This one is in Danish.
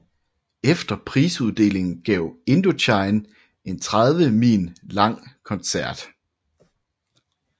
Efter prisuddelingen gav Indochine en 30 min lang koncert